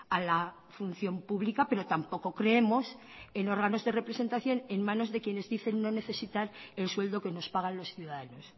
a la función pública pero tampoco creemos en órganos de representación en manos de quienes dicen no necesitar el sueldo que nos pagan los ciudadanos